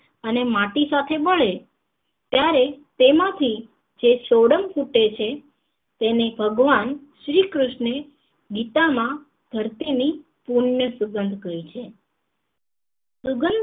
અને માટી સાથે મળે ત્યારે તેમાંથી જે સોડમ છૂટે છે તેને ભગવાન શ્રી કૃષ્ણે ગીતા માં ધરતી ની પૂર્ણ સુંગધ કહી છે ભગવાન નું